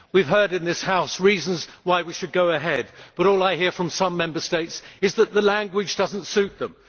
We have heard in this House reasons why we should go ahead, but all I hear from some Member States is that the language does not suit them.